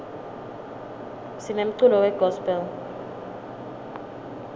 sinemculo we gospel